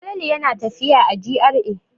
Falalu yana tafiya a GRA.